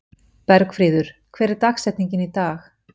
Bergfríður, hver er dagsetningin í dag?